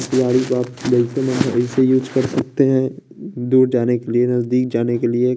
use कर सकते हैं दूर जाने के लिए नजदीक जाने के लिए--